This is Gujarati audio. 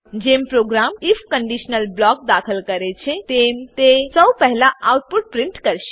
જેમ પ્રોગ્રામ આઇએફ કંડીશનલ બ્લોક દાખલ કરે છે તેમ તે સૌપહેલા આઉટપુટ પ્રીંટ કરશે